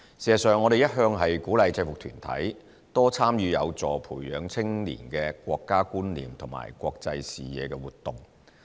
事實上，我們一向鼓勵制服團體，多參與有助培養青年的"國家觀念"和"國際視野"的活動。